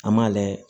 An m'a layɛ